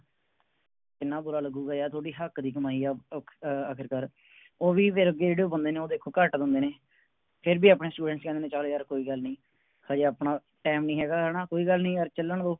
ਕਿੰਨਾ ਬੁਰਾ ਲੱਗੂਗਾ ਯਾਰ ਤੁਹਾਡੇ ਹੱਕ ਕਿ ਕਮਾਈ ਅਹ ਆਹ ਆ ਆਖਿਰਕਾਰ ਉਹ ਵੀ ਫੇਰ ਅੱਗੇ ਜਿਹੜੇ ਬੰਦੇ ਨੇ ਉਹ ਦੇਖੋ ਘੱਟ ਦਿੰਦੇ ਨੇ ਫੇਰ ਵੀ ਆਪਣੇ Students ਕਹਿੰਦੇ ਨੇ ਚਲ ਯਾਰ ਕੋਈ ਗੱਲ ਨੀ ਹਜੇ ਆਪਣਾ Time ਨਹੀਂ ਹੇਗਾ ਹੈ ਨਾ ਕੋਈ ਗੱਲ ਨੀ ਯਾਰ ਚੱਲਣ ਦੋ